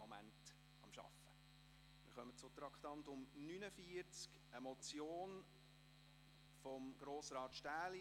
Wir kommen zum Traktandum 49, eine Motion von Grossrat Stähli: